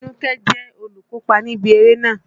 Tinúkẹ́ jẹ́ olùkópa níbi eré náà.